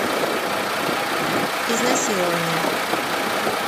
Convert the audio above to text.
изнасилование